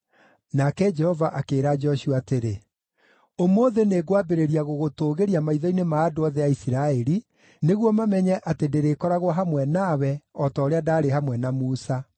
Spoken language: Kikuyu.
Nake Jehova akĩĩra Joshua atĩrĩ, “Ũmũthĩ nĩngwambĩrĩria gũgũtũũgĩria maitho-inĩ ma andũ othe a Isiraeli, nĩguo mamenye atĩ ndĩrĩkoragwo hamwe nawe o ta ũrĩa ndaarĩ hamwe na Musa.